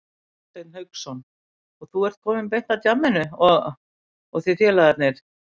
Hafsteinn Hauksson: Og þú ert að koma beint af djamminu og, og þið félagarnir?